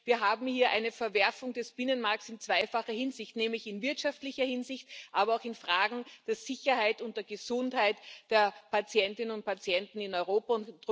Das heißt, wir haben hier eine Verwerfung des Binnenmarkts in zweifacher Hinsicht, nämlich in wirtschaftlicher Hinsicht, aber auch in Fragen der Sicherheit und der Gesundheit der Patientinnen und Patienten in Europa.